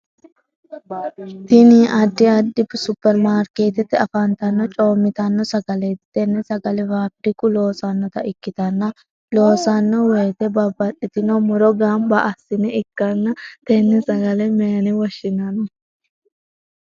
Tinni addi addi superimaarikeetete afantano coomitanno sagaleeti tenne sagale faafiriku loossanota ikitanna loosanno woyite babbaxitino muro ganba ase ikanna tenne sagale mayine woshinnanni?